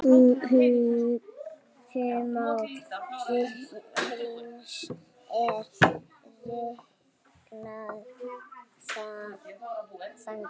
Ummál hrings er reiknað þannig